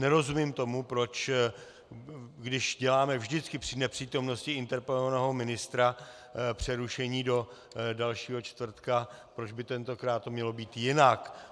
Nerozumím tomu, proč když děláme vždycky při nepřítomnosti interpelovaného ministra přerušení do dalšího čtvrtka, proč by tentokrát to mělo být jinak.